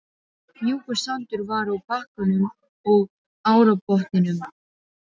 Mjúkur sandur var á bakkanum og árbotninum.